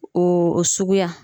Oo o suguya